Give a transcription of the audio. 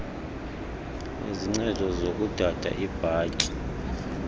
izincedo zokudada iibhatyi